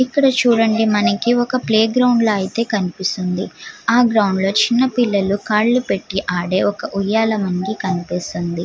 ఇక్కడ చుడండి మనకి ఒక ప్లే గ్రౌండ్ల అయితే కనిపిస్తుంది. ఆ గ్రౌండ్ లో చిన్న పిల్లలు కళ్ళు పెట్టి ఆడే ఒక ఉయాల మనకి కనిపిస్తుంది.